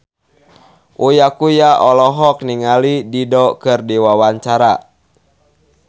Uya Kuya olohok ningali Dido keur diwawancara